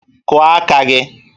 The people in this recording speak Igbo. Kụọ aka gị!